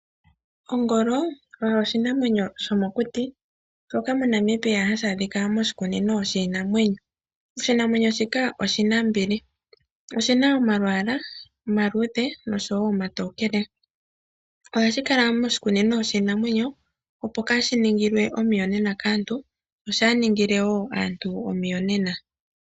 Ongolo oshinamwenyo shomokuti, moNamibia ohashi adhika moshikunino shiinamwenyo. Oshinanwenyo shika oshinambili, oshina omalwalwa omatokoele nomaluudhe. Osha ga menwa ppo kashi ningile aantu omiyonena nenge shi ningilwe omiyonena.